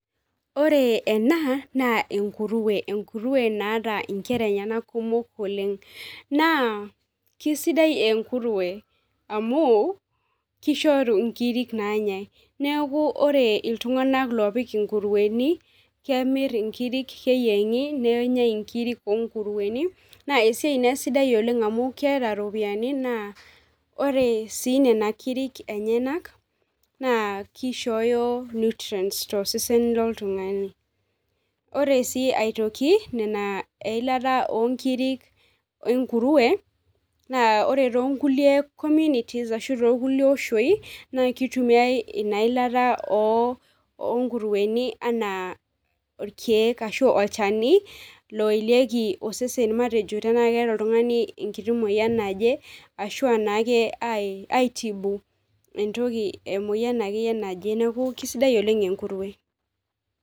Ore ena naa enkurue enkurue naata nkera enyenak kumok oleng naa kisidai enkurue amu kishoriu nkirik naanyae, neeku ore iltunganak loopik inkurueni kemir nkirik keyienhi nenyae nkirik inkurueni naa esiai sidai oleng amu keeta iropiyiani naa ore sii nena kiriki enyenak naa kishooyo nutrients tosesen loltungani. Ore sii aitoki Nena eilata oonkirik enkurue Nas ore too nkulie communities ashu too kulie oshii naa kitumiae Ina ilata oo nkuruein anaa irkeek ashu olchani loyelieki osesen matejo tena keeta oltungani enkiti moyian naje ashu anaake aitibu entoki, emoyian akeyie naje, neeku kisidai oleng enkurue.